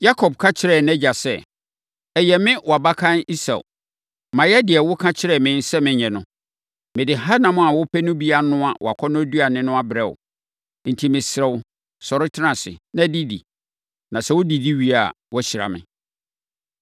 Yakob ka kyerɛɛ nʼagya sɛ, “Ɛyɛ me wʼabakan Esau. Mayɛ deɛ woka kyerɛɛ me sɛ menyɛ no. Mede hanam a wopɛ no bi anoa wʼakɔnnɔduane no abrɛ wo, enti mesrɛ wo, sɔre tena ase, na didi, na sɛ wodidi wie a, woahyira me.”